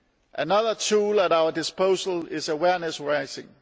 Another tool at our disposal is awareness raising.